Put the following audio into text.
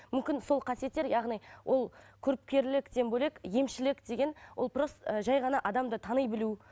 мүмкін сол қасиеттер яғни ол көріпкерліктен бөлек емшілік деген ол ы жай ғана адамды тани білу